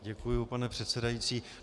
Děkuju, pane předsedající.